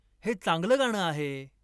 हे चांगलं गाणं आहे